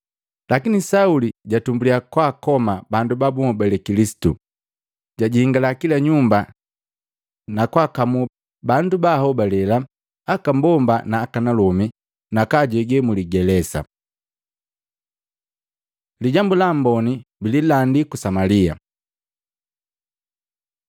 Lakini Sauli jatumbuliya kwaakoma bandu babuhobale Kilisitu, jajingala kila nyumba na kwakamuu bandu ba ahobale aka mbomba na akanalomi na kwaajege muligelesa. Lijambu la Amboni bililandi ku Samalia